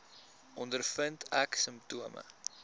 ondervind ek simptome